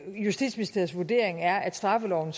justitsministeriets vurdering er at straffeloven